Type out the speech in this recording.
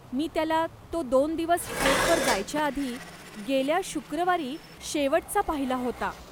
मी त्याला तो दोन दिवस ट्रेकवर जायच्या आधी गेल्या शुक्रवारी शेवटचा पाहिला होता.